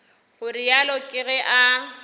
go realo ke ge a